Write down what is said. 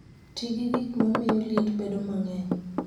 Ti gi gik ma miyo liet bedo mang'eny.